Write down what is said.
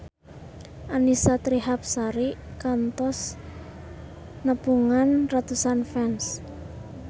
Annisa Trihapsari kantos nepungan ratusan fans